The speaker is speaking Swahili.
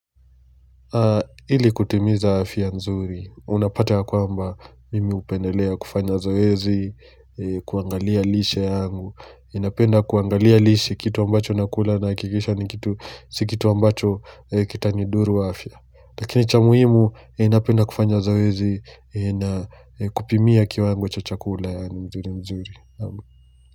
Ili kutimiza afya mzuri, unapata ya kwamba mimi hupendelea kufanya zoezi, kuangalia lishe yangu, ninapenda kuangalia lishe kitu ambacho nakula nahakikisha ni kitu, si kitu ambacho kitanidhuru afia. Lakini cha muhimu ninapenda kufanya zoezi na kupimia kiwango cha chakula yaani mzuri mzuri.